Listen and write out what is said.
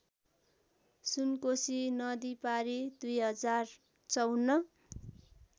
सुनकोशी नदीपारी २०५४